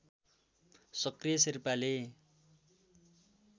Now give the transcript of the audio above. सक्रिय शेर्पाले